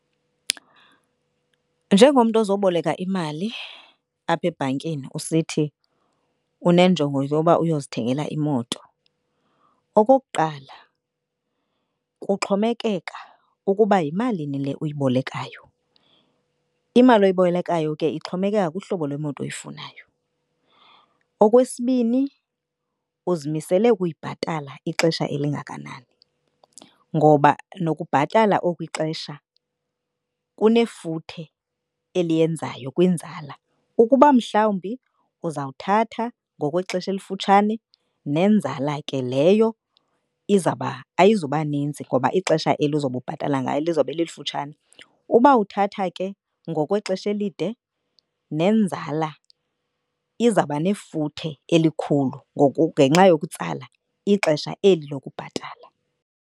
Njengomntu ozoboleka imali apha ebhankini usithi unenjongo yoba uyozithengela imoto. Okokuqala, kuxhomekeka ukuba yimalini le uyibolekayo, imali oyibolekayo ke ixhomekeka kuhlobo lwemoto oyifunayo. Okwesibini, uzimisele ukuyibhatala ixesha elingakanani ngoba nokubhatala oku ixesha kunefuthe eliyenzayo kwinzala. Ukuba mhlawumbi uzawuthatha ngokwexesha elifutshane nenzala ke leyo izawuba, ayizuba ninzi ngoba ixesha eli uzobe ubhatala ngalo lizawube lifutshane. Uba uthatha ke ngokwexesha elide nenzala izawuba nefuthe elikhulu ngoku ngenxa yokutsala ixesha eli lokubhatala.